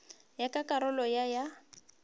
ya ka karolo ya ya